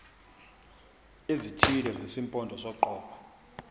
ezithile zesimpondo soqobo